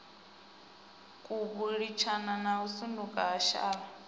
kubulinyana a sutuka a shavha